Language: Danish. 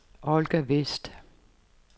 Olga Westh